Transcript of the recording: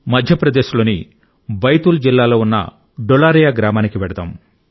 మధ్యప్రదేశ్ లోని బైతూల్ జిల్లాలో ఉన్న డులారియా గ్రామానికి వెళ్దాం